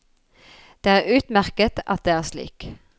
Det er utmerket at det er slik.